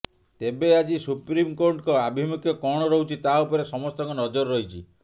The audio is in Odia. ତେବେ ଆଜି ସୁପ୍ରିମକୋର୍ଟଙ୍କ ଆଭିମୁଖ୍ୟ କଣ ରହୁଛି ତା ଉପରେ ସମସ୍ତଙ୍କ ନଜର ରହିଛି